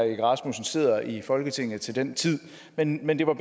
egge rasmussen sidder i folketinget til den tid men men det var